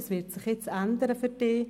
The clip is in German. Das wird sich jetzt ändern für Sie.